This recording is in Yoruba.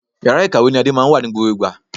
Yàrá ìkàwé ni Ade máa ń wà ní gbogbo ìgbà